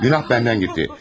Günah bəndən getdi.